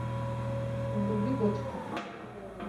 вруби готику